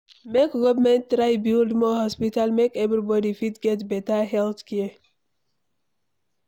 Make government try build more hospital make everybody fit get beta healthcare